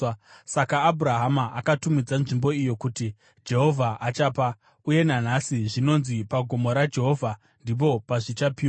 Saka Abhurahama akatumidza nzvimbo iyo kuti, “Jehovha Achapa.” Uye nanhasi zvinonzi, “Pagomo raJehovha ndipo pazvichapiwa.”